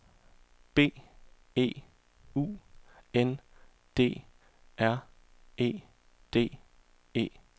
B E U N D R E D E